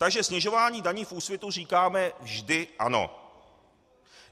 Takže snižování daní v Úsvitu říkáme vždy ano.